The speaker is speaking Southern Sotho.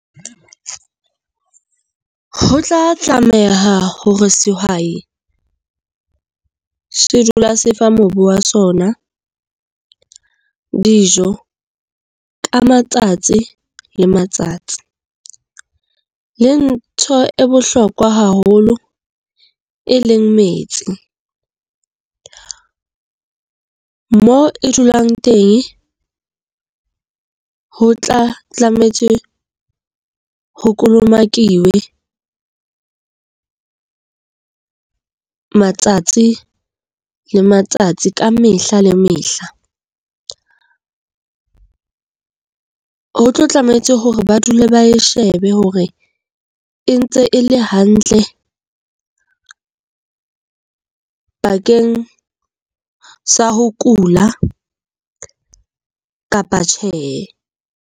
Ho tla tlameha hore sehwai se dula se fa mobu wa sona dijo ka matsatsi le matsatsi. Le ntho e bohlokwa haholo e leng metsi. Mo e dulang teng ho tla tlametse ho kolomake Iwe matsatsi le matsatsi, ka mehla le mehla. Ho tlo tlamehetse hore ba dule ba e shebe hore e ntse e le hantle bakeng sa ho kula kapa tjhe.